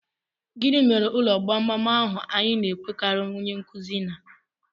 Gị mere ụlọ gbamgbam ahụ anyị na-enwekarị nkuzi na?